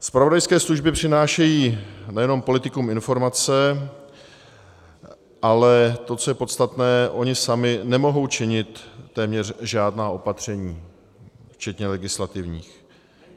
Zpravodajské služby přinášejí nejenom politikům informace, ale to, co je podstatné, ony samy nemohou činit téměř žádná opatření, včetně legislativních.